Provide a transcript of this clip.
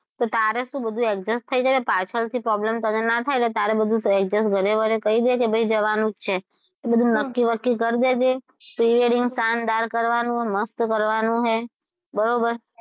તો તારે શું બધુ adjust થઈ જાય ને પાછળથી problem તને ના થાય એટલે તારું બધું adjust ઘરે બરે બધુ કહી દેજે કે ભઈ જવાનું જ છે બધુ નક્કી બકકી કરી દેજે pre-wedding શાનદાર કરવાનું છે મસ્ત કરવાનું છે બરોબર,